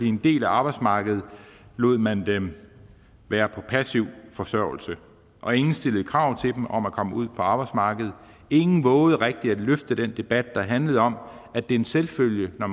en del af arbejdsmarkedet lod man dem være på passiv forsørgelse og ingen stillede krav til dem om at komme ud på arbejdsmarkedet ingen vovede rigtig at løfte den debat der handlede om at det er en selvfølge når